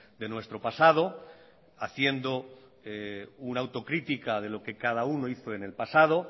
de nuestro pasado haciendo una autocrítica de lo que cada uno hizo en el pasado